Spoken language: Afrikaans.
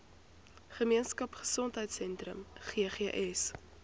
gemeenskap gesondheidsentrum ggs